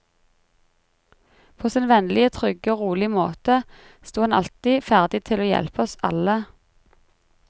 På sin vennlige, trygge og rolige måte sto han alltid ferdig til å hjelpe oss alle.